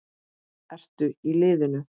Ertu í liðinu?